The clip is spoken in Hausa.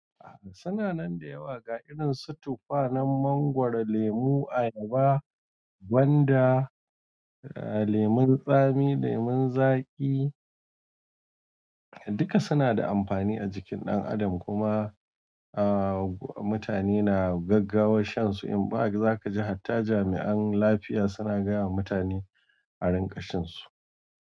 Suna nan da yawa ga irin su tufa na mangwaro, lemu, ayaba, gwanda, lemon tsami, lemon zaƙi. Duka suna da amfani a jikin ɗan adam kuma mutane na gaggawar shan su. In ba haka za ka ji har ta jami'an lafiya suna gaya wa mutane a rinƙa shan su.